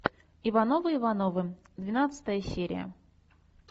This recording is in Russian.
ивановы ивановы двенадцатая серия